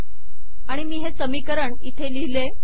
आणि मी हे समीकरण इथे लिहिले